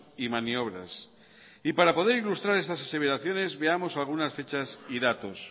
y maniobras y para poder ilustrar estas aseveraciones veamos algunas fechas y datos